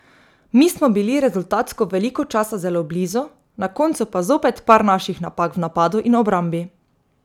Mi smo bili rezultatsko veliko časa zelo blizu, na koncu pa zopet par naših napak v napadu in v obrambi.